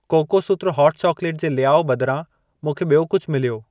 कोकोसूत्र hot चॉक्लेटु जे लियाओ बदिरां, मूंखे ॿियो कुझि मिलियो।